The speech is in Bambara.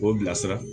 K'o bila sira